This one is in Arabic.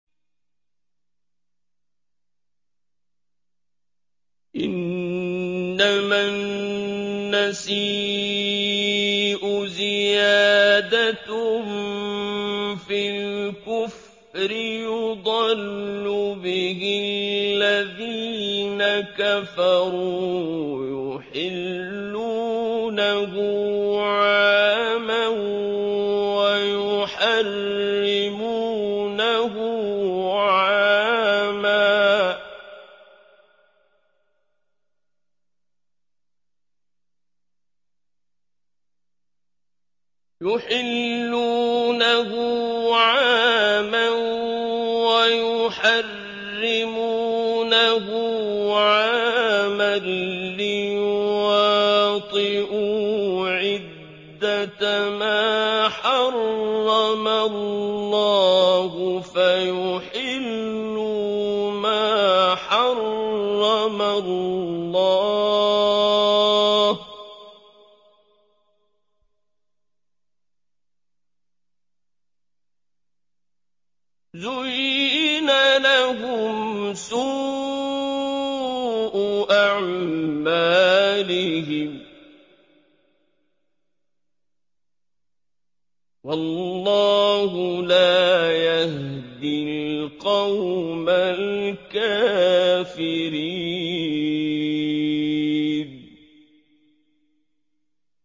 إِنَّمَا النَّسِيءُ زِيَادَةٌ فِي الْكُفْرِ ۖ يُضَلُّ بِهِ الَّذِينَ كَفَرُوا يُحِلُّونَهُ عَامًا وَيُحَرِّمُونَهُ عَامًا لِّيُوَاطِئُوا عِدَّةَ مَا حَرَّمَ اللَّهُ فَيُحِلُّوا مَا حَرَّمَ اللَّهُ ۚ زُيِّنَ لَهُمْ سُوءُ أَعْمَالِهِمْ ۗ وَاللَّهُ لَا يَهْدِي الْقَوْمَ الْكَافِرِينَ